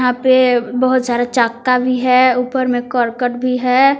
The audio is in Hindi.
यहा पे बहुत सारा चक्का भी है ऊपर में करकट भी है।